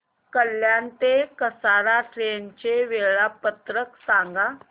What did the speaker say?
कल्याण ते कसारा ट्रेन चे वेळापत्रक सांगा